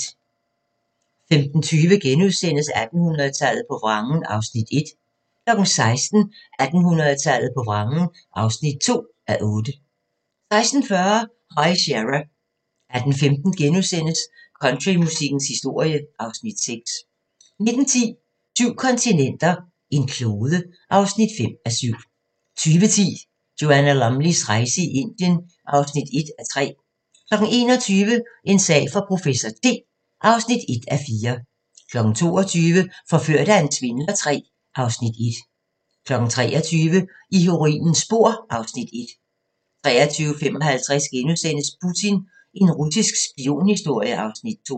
15:20: 1800-tallet på vrangen (1:8)* 16:00: 1800-tallet på vrangen (2:8) 16:40: High Sierra 18:15: Countrymusikkens historie (Afs. 6)* 19:10: Syv kontinenter, en klode (5:7) 20:10: Joanna Lumleys rejse i Indien (1:3) 21:00: En sag for professor T (1:4) 22:00: Forført af en svindler III (Afs. 1) 23:00: I heroinens spor (Afs. 1) 23:55: Putin – en russisk spionhistorie (Afs. 2)*